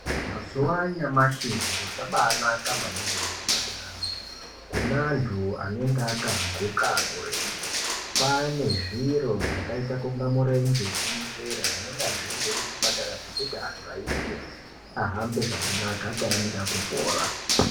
Mazuwa anyamashi zviro zvabaanaka maningi muzvipataramwo. Kune unthu anenge akaguka murenje. Kwaane zviro zvakaita kunga murenje wekunyepera zvinonga zviriyo kuchipatara zvekuti anhu aisirwe, ahambe zvakanaka akaemera kupora.